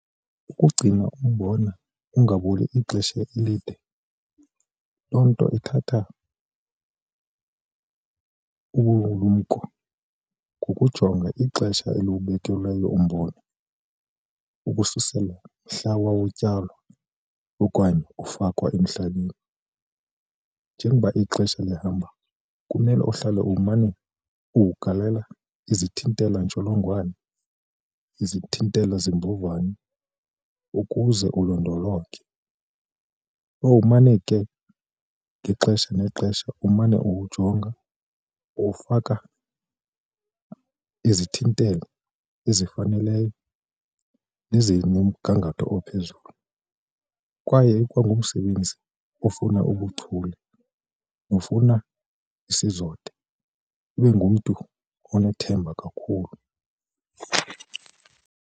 Ukugcina umbona ungaboli ixesha elide loo nto ithatha ubulumko ngokujonga ixesha eliwubekelweyo umbona ukususela mhla wawutyalwa okanye ufakwa emhlabeni. Njengoba ixesha lihamba kumele uhlale umane ugalela izithintelo-ntsholongwane izithintelo zimbovane ukuze ulondolonge. Kowumane ke ngexesha nexesha umane uwujonga uwufaka izithintelo ezifaneleyo nezikumgangatho ophezulu kwaye ikwa ngumsebenzi ofuna ubuchule nofuna isizotha ube ngumntu onethemba kakhulu.